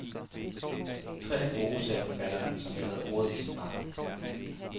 De tre er gode, sagde forfatteren, som jo havde ordet i sin magt.